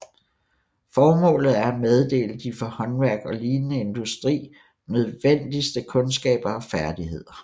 Formålet er at meddele de for håndværk og lignende industri nødvendigste kundskaber og færdigheder